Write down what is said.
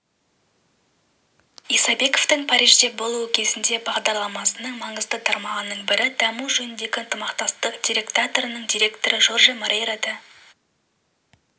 исабековтің парижде болуы кезіндегі бағдарламасының маңызды тармағының бірі даму жөніндегі ынтымақтастық директоратының директоры жорже морейра да